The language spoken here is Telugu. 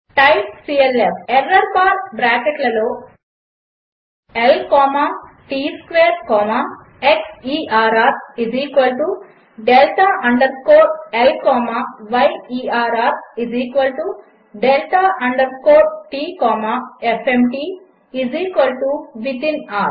టైప్ clf ఎర్రర్ బార్ బ్రాకెట్లలో L comma T square comma xerr delta underscore L comma yerr delta underscore T comma fmt within ర్